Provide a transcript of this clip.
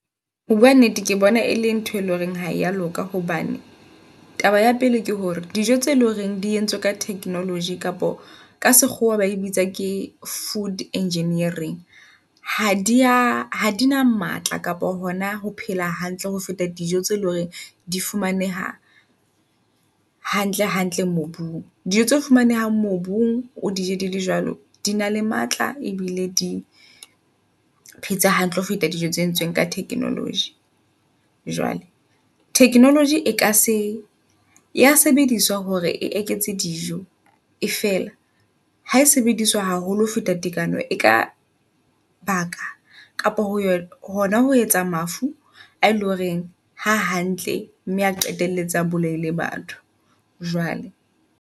Ho bua nnete, ke bona e leng ntho e leng horeng haua loka hobane taba ya pele ke hore dijo tse loreng di entswe ka technology kapa ka sekgowa ba e bitsa ke food engineering. Ha dia ha di na matla kapa hona ho phela hantle ho feta dijo tse leng hore di fumaneha hantle hantle mobung. Dijo tse fumanehang mobung o di je dile jwalo, di na le matla ebile di phetse hantle ho feta dijo tse entsoeng ka technology. Jwale technology e ka se ya sebediswa hore e eketse dijo e fela, ha e sebediswa haholo ho feta tekano e ka baka kapa ho yona hona ho etsa mafu a eleng horeng ha hantle mme a qetelletse a bolaile batho. Jwale.